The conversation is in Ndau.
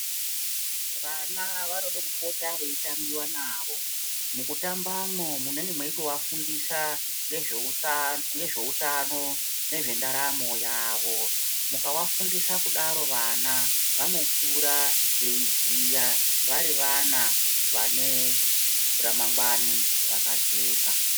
Vana vanode kupota vei tambiwa navo muku tamba mwo munenge meito vafundisa nezve utano nezve ndaramo yavo muka vafundisa kudaro vana vanokura vei ziya vari vana vane ra mangwani raka jeka.